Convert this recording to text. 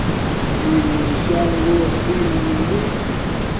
ḽi ṅwe shango ḽine ḽi